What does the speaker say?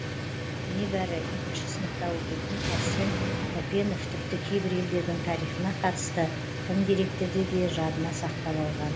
небәрі екінші сыныпта оқитын әрсен тәпенов тіпті кейбір елдердің тарихына қатысты тың деректерді де жадына сақтап алған